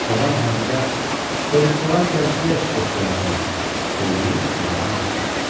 Cavan Hacıbə, soruşsalar gəzintiyə çıxdıq deyərsən, söyləyib saraydan çıxdı.